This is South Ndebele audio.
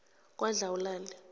kwadlawulale